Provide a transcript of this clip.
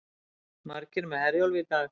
Margir með Herjólfi í dag